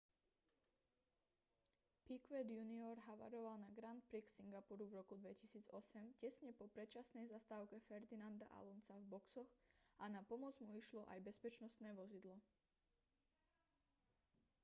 piquet jr havaroval na grand prix singapuru v roku 2008 tesne po predčasnej zastávke fernanda alonsa v boxoch a na pomoc mu išlo aj bezpečnostné vozidlo